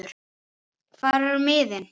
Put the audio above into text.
hvar eru miðin?